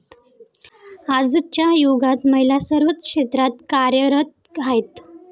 आजच्या युगात महिला सर्वच क्षेत्रात कार्यरत आहेत.